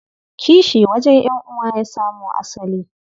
Kishi wajen ƴan'uwa ya samo asali.